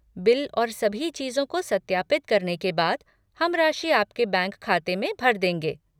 Bill और सभी चीजों को सत्यापित करने के बाद, हम राशि आपके बैंक खाते में भर देंगे।